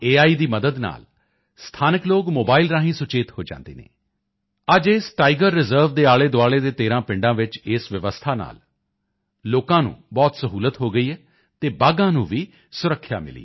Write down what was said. ਦੀ ਮਦਦ ਨਾਲ ਸਥਾਨਕ ਲੋਕ ਮੋਬਾਇਲ ਰਾਹੀਂ ਸੁਚੇਤ ਹੋ ਜਾਂਦੇ ਹਨ ਅੱਜ ਇਸ ਟਾਈਗਰ ਰਿਜ਼ਰਵ ਦੇ ਆਲੇਦੁਆਲੇ ਦੇ 13 ਪਿੰਡਾਂ ਵਿੱਚ ਇਸ ਵਿਵਸਥਾ ਨਾਲ ਲੋਕਾਂ ਨੂੰ ਬਹੁਤ ਸਹੂਲਤ ਹੋ ਗਈ ਹੈ ਅਤੇ ਬਾਘਾਂ ਨੂੰ ਵੀ ਸੁਰੱਖਿਆ ਮਿਲੀ ਹੈ